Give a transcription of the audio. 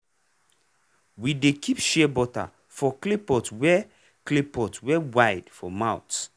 we dey keep shea butter for clay pot wey clay pot wey wide for mouth.